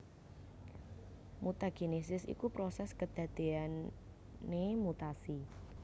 Mutagénesis iku prosés kedadéyané mutasi